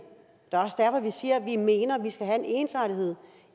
er også derfor vi siger at vi mener at vi skal have en ensartethed